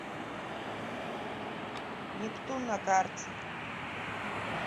нептун на карте